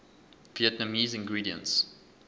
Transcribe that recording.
vietnamese ingredients